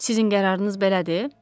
Sizin qərarınız belədir?